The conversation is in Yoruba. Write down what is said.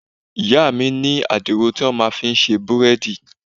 Ìyá mi ní adiro tó fi máa ń ṣe búrẹ́dì.